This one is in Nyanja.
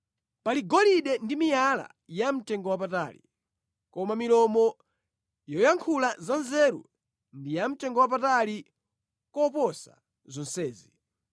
Pali golide ndi miyala yamtengowapatali, koma milomo yoyankhula zanzeru ndi yamtengowapatali koposa zonsezi.